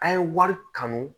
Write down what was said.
An ye wari kanu